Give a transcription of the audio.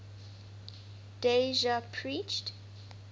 dev ji preached